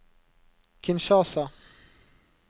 Kinshasa